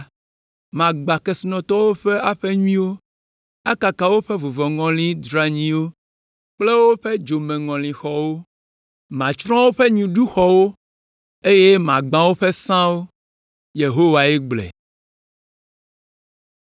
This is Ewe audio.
Magbã kesinɔtɔwo ƒe aƒe nyuiwo, akaka woƒe vuvɔŋɔlixɔ dranyiwo kple woƒe dzomeŋɔlixɔwo. Matsrɔ̃ woƒe nyiɖuxɔwo, eye magbã woƒe sãwo,” Yehowae gblɔe.